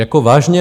Jako vážně?